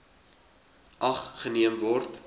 ag geneem word